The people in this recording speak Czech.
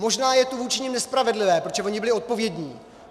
Možná je to vůči nim nespravedlivé, protože oni byli odpovědní.